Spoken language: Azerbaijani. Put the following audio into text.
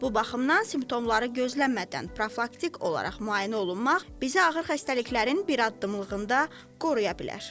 Bu baxımdan simptomları gözləmədən profilaktik olaraq müayinə olunmaq bizə ağır xəstəliklərin bir addımlığında qoruya bilər.